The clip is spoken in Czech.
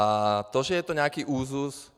A to, že to je nějaký úzus...